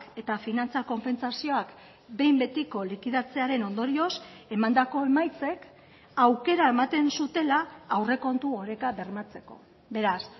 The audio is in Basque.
eta finantza konpentsazioak behin betiko likidatzearen ondorioz emandako emaitzek aukera ematen zutela aurrekontu oreka bermatzeko beraz